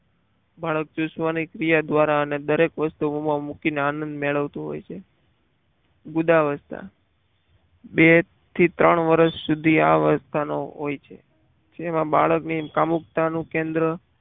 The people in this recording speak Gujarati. બાળક ચૂસવાની ક્રિયા દ્વારા અને વસ્તુઓમાં મૂકીને આનંદ મેળવતો હોય છે ગુદા અવસ્થા બે થી ત્રણ વર્ષ સુધી આ અવસ્થાનો હોય છે. જેમાં બાળકની કામુકતા નું કેન્દ્ર